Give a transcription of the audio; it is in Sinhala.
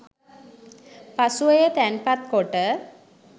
පසුව එය තැන්පත් කොට